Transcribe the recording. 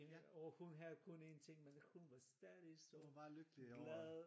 Og hun havde kun én ting men hun var stadig så glad